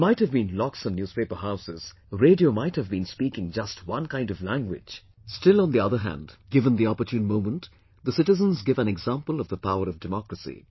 There might have been locks on newspaper houses, radio might have been speaking just one kind of language, still on the other hand, given the opportune moment, the citizens give an example of the power of Democracy